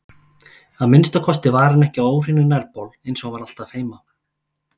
Að minnsta kosti var hann ekki á óhreinum nærbol eins og hann var alltaf heima.